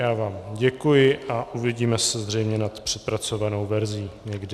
Já vám děkuji a uvidíme se zřejmě nad přepracovanou verzí, někdy.